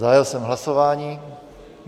Zahájil jsem hlasování.